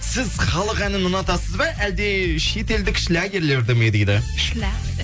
сіз халық әнін ұнатасыз ба әлде шетелдік шлягерлерді ме дейді